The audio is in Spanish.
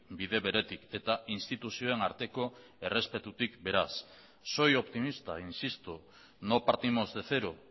bide beretik eta instituzioen arteko errespetutik beraz soy optimista insisto no partimos de cero